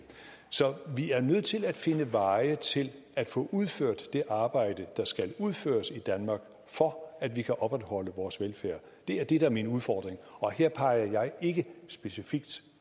så vi er nødt til at finde veje til at få udført det arbejde der skal udføres i danmark for at vi kan opretholde vores velfærd det er det der er min udfordring og her peger jeg ikke specifikt